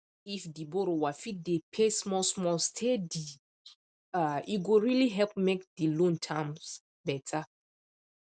if the borrower fit dey pay smallsmall steady um e go really help make the loan terms better